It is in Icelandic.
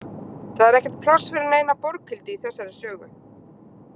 Það er ekkert pláss fyrir neina Borghildi í þessari sögu.